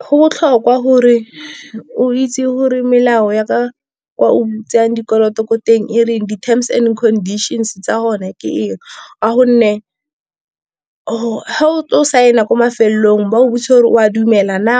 Go botlhokwa gore o itse gore melao ya kwa o butseng dikoloto ko teng e reng, di-terms and conditions tsa bone ke eng. Ka gonne ga o tlo saena kwa mafelelong ba o botsise gore o a dumela na